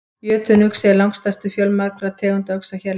Jötunuxi er langstærstur fjölmargra tegunda uxa hérlendis.